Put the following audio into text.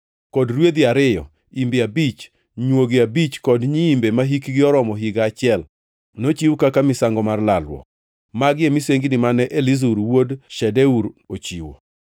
kod rwedhi ariyo, imbe abich, nywogi abich kod nyiimbe mahikgi oromo higa achiel, nochiw kaka misango mar lalruok. Magi e misengini mane Elizur wuod Shedeur ochiwo.